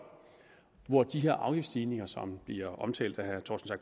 hvor de her afgiftsstigninger som bliver omtalt af herre